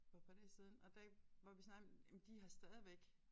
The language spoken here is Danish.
For et par dage siden og der hvor vi snakkede jamen de har stadigvæk